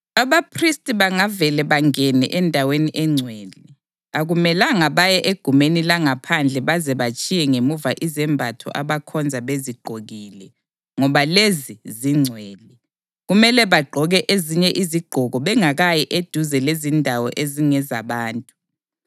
Abaphristi bangavele bangene endaweni engcwele, akumelanga baye egumeni langaphandle baze batshiye ngemuva izembatho abakhonza bezigqokile, ngoba lezi zingcwele. Kumele bagqoke ezinye izigqoko bengakayi eduze lezindawo ezingezabantu.”